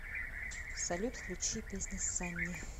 салют включи песня санни